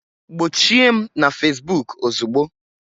Gbochie m na Facebook ozugbo!